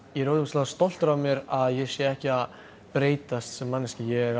ég er ógeðslega stoltur af mér að ég sé ekki að breytast sem manneskja ég